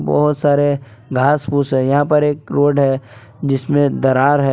और सारे घास फूस है यहां पर एक रोड है जिसमें दरार है।